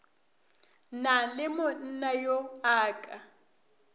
na le monnayo a ka